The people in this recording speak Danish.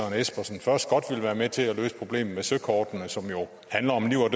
espersen først godt ville være med til at løse problemet med søkortene som jo handler om liv og